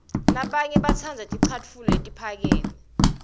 labanye batsandza ticatfulo letiphakeme